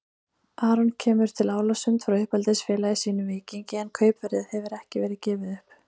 Aron kemur til Álasund frá uppeldisfélagi sínu Víkingi en kaupverðið hefur ekki verið gefið upp.